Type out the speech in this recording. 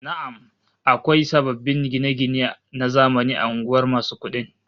Na'am, akwai sababbin gine-gine na zamani a unguwar masu kudin